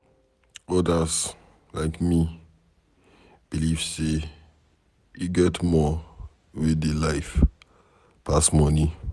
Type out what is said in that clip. Odas like me believe sey e get more wey dey life pass money.